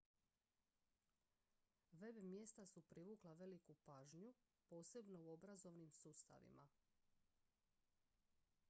web-mjesta su privukla veliku pažnju posebno u obrazovnim sustavima